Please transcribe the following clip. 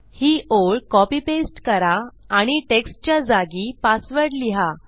ही ओळ copy paste करा आणि textच्या जागी पासवर्ड लिहा